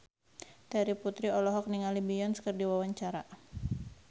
Terry Putri olohok ningali Beyonce keur diwawancara